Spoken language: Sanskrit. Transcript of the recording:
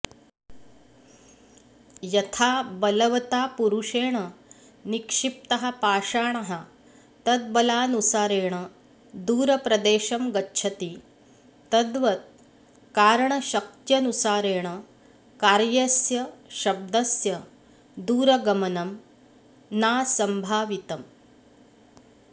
यथा बलवता पुरुषेण निक्षिप्तः पाषाणः तद्बलानुसारेण दूरप्रदेशं गच्छति तद्वत् कारणशक्त्यनुसारेण कार्यस्य शब्दस्य दूरगमनं नासम्भावितम्